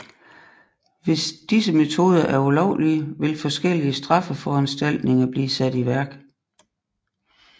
Hvis disse metoder er ulovlige vil forskellige straffeforanstaltninger blive sat i værk